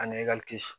A ni